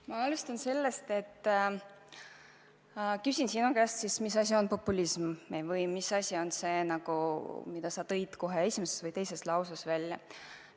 Ma alustan sellest, et küsin sinu käest, mis asi on populism, mida sa kohe oma esimeses või teises lauses nimetasid.